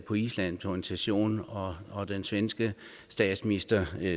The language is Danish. på island til en session og og den svenske statsminister